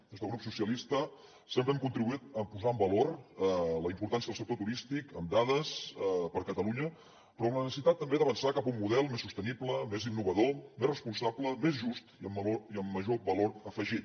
des del grup socialistes sempre hem contribuït a posar en valor la importància del sector turístic amb dades per a catalunya però amb la necessitat també d’avançar cap a un model més sostenible més innovador més responsable més just i amb major valor afegit